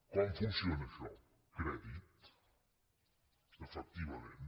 com funciona això crèdit efectivament